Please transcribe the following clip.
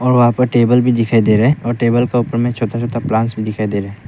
और वहां पर टेबल भी दिखाई दे रहा और टेबल के ऊपर में छोटा छोटा प्लांट्स भी दिखाई दे रहे--